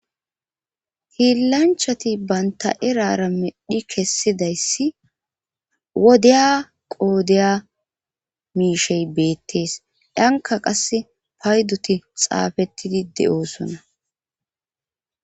hiillanchati banta erara medhi kessidayssi wodeya qoodeya miishey beettees dhanka qass paydoti xaafettidi de7oosona